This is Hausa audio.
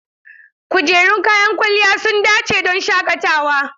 Kujerun kayan kwalliya sun dace don shaƙatawa.